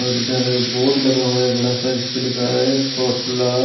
और इधर बोर्ड लगा हुआ है बड़ा सा जिसपें लिखा है पॉपुलर --